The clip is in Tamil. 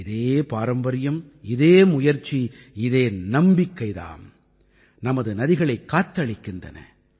இதே பாரம்பரியம் இதே முயற்சி இதே நம்பிக்கை தாம் நமது நதிகளைக் காத்தளித்திருக்கின்றன